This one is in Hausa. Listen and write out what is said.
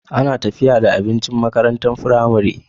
Ana tafiya da abinci makarantar pramari